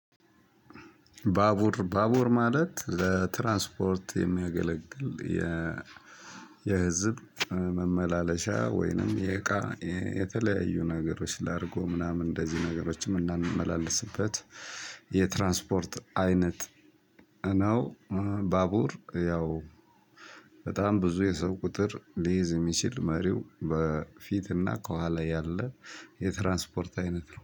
ባቡር ባቡር ማለት ለትራንስፖርት የሚያገለግል የ የህዝብ መመላለሻ ወይንም የእቃ የተለያዩ ነገሮች ላርጎ ምናምን እንደዚህ ነገሮች እምናመላልስበት የትራንስፖርት አይነት ነው። ባቡር ያው በጣም ብዙ የሰው ቁጥር ሊይዝ የሚችል መሪው በፊትና ከኋላ ያለ የትራንስፖርት አይነት ነው